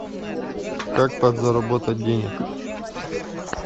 как подзаработать денег